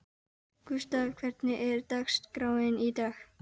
Gústav, hvernig er dagskráin í dag?